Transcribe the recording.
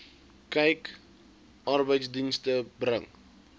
kyk arbeidsdienste bring